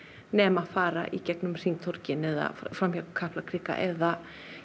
nema fara í gegnum hringtorgin eða hjá Kaplakrika eða